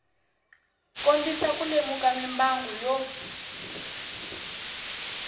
kombisa ku lemuka mimbangu yo